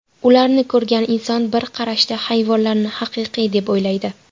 Ularni ko‘rgan inson bir qarashda hayvonlarni haqiqiy deb o‘ylaydi.